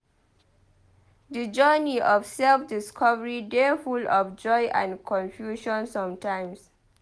Di journey of self-discovery dey full of joy and confusion sometimes.